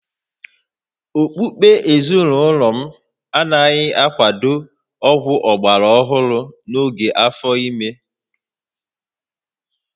Okpukpe ezinụlọ m anaghị akwado ọgwụ ọgbara ọhụrụ n'oge afọ ime